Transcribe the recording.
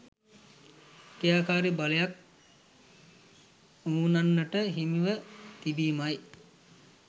ක්‍රියාකාරි බලයක් බමුණන්ට හිමිව තිබීමයි.